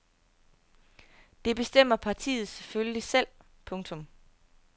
Det bestemmer partiet selvfølgelig selv. punktum